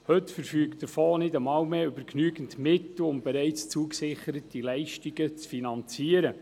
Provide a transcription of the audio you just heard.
Heute verfügt der Fonds nicht einmal mehr über genügend Mittel, um bereits zugesicherte Leistungen zu finanzieren.